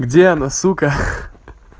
где она сука